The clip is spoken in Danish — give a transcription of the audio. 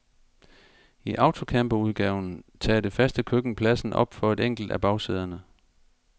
I autocamperudgaven tager det faste køkken pladsen op for et enkelt af bagsæderne.